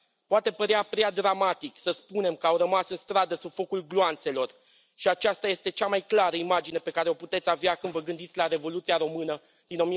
Poate părea prea dramatic să spunem că au rămas în stradă sub focul gloanțelor și aceasta este cea mai clară imagine pe care o puteți avea când vă gândiți la Revoluția română din